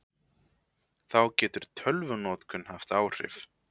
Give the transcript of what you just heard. Þá getur tölvunotkun haft áhrif.